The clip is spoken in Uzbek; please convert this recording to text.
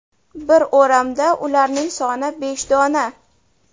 Bir o‘ramda ularning soni besh dona.